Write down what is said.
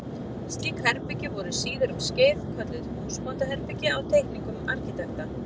Slík herbergi voru síðar um skeið kölluð húsbóndaherbergi á teikningum arkitekta.